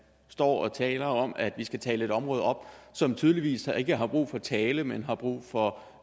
står og taler om at vi skal tale et område op som tydeligvis ikke har brug for tale men har brug for